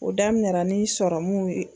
O daminɛra ni sɔrɔmuw ye.